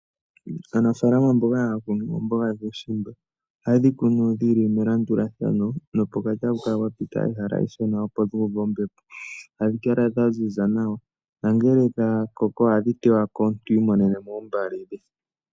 Aanafalama mboka haya kunu omboga yuushimba, oha yedhi kunu dhili melandulathano no pokati ohapu kala pwa pita ehala eshona opo dhi uve ombepo, adhi kala dha ziza nawa, nangele dha koko ohadhi tewako, omuntu ta imonenemo ombali dhe.